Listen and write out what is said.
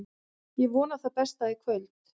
Ég vona það besta í kvöld.